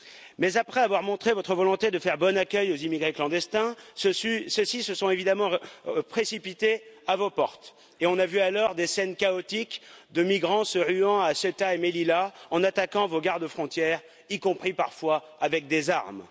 Mais, après avoir montré votre volonté de faire bon accueil aux immigrés clandestins, ceux ci se sont évidemment précipités à vos portes et on a vu alors des scènes chaotiques de migrants se ruant à Ceuta et Melilla en attaquant vos garde frontières, y compris parfois avec des armes.